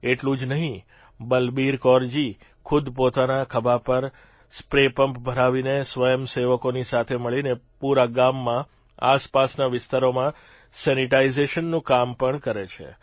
એટલું જ નહિં આ બલબીરકૌરજી ખુદ પોતાના ખભા પર સ્પ્રેપંપ ભરાવીને સ્વયંસેવકોની સાથે મળીને પૂરા ગામમાં આસપાસના વિસ્તારોમાં સેનીટાઇજેશનનું કામ પણ કરે છે